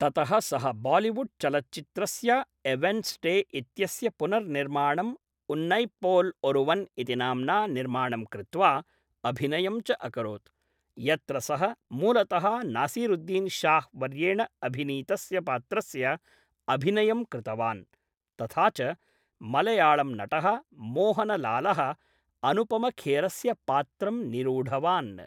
ततः सः बालिवुड् चलच्चित्रस्य ए वेन्स्डे इत्यस्य पुनर्निर्माणं उन्नैप्पोल् ओरुवन् इति नाम्ना निर्माणं कृत्वा अभिनयं च अकरोत्, यत्र सः मूलतः नासीरुद्दीन् शाह् वर्येण अभिनीतस्य पात्रस्य ​​अभिनयं कृतवान्, तथा च मलयाळम् नटः मोहनलालः अनुपमखेरस्य पात्रं निरूढवान्।